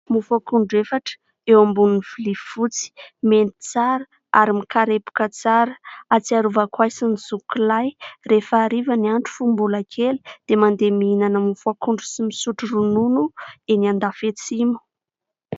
Mofo akondro efatra eo ambonin'ny vilia fotsy. Mendy tsara ary mikarepoka tsara. Hatsiarovako ahy sy ny zokiko lahy, rehefa hariva ny andro fony mbola kely dia mandeha mihinana mofo akondro sy misotro ronono eny andafy atsimo.